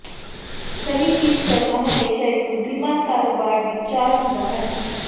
ਸਹੀ ਚੀਜ਼ ਕਰਨਾ ਹਮੇਸ਼ਾ ਇੱਕ ਬੁੱਧੀਮਾਨ ਕਾਰੋਬਾਰ ਦੀ ਚਾਲ ਹੁੰਦਾ ਹੈ